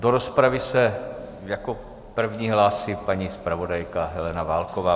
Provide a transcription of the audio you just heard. Do rozpravy se jako první hlásí paní zpravodajka Helena Válková.